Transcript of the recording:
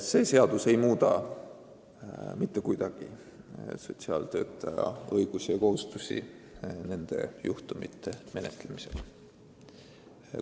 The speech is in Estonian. See seadus ei muuda mitte kuidagi sotsiaaltöötaja õigusi ja kohustusi niisuguste juhtumite menetlemisel.